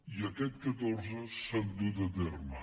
i aquest catorze s’han dut a terme